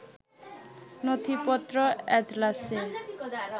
নথিপত্র এজলাসে